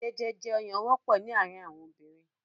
Jẹjèjẹ ọyàn wọ́pọ̀ ní àárín àwọn obìnrin.